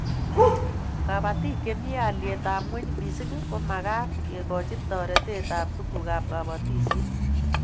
Kabatik chemi alyet ab ng'weny mising ko magat kekoch taret ab tuguk ab kabatishet